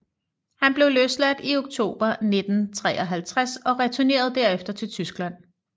Han blev løsladt i oktober 1953 og returnerede derefter til Tyskland